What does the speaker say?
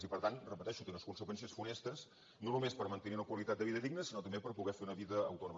i per tant ho repeteixo té unes conseqüències funestes no només per mantenir una qualitat de vida digna sinó també per poder fer una vida autònoma